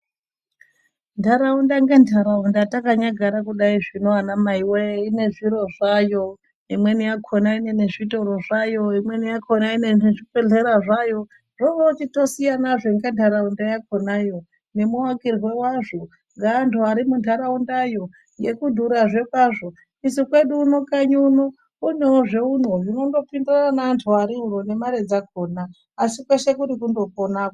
Ndaraunda nendaraunda takanyagara kudai zvino ana mai wee ine zviro zvayo imweni yakona ine zvitoro zvayo imweni yakona ine zvibhehlera zvayo zvochitosiyana nenharaunda yakona nemuakirwe wazvo neantu ari munharaunda yo nekudhurazve kwazvo isu kwedu uno kwedu kune zveuno zvinongodiwa nevantu vari uno nemari dzakona. ASI kweshe kuri kungoponako.